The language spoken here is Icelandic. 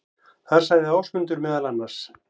Þar sagði Ásmundur meðal annars: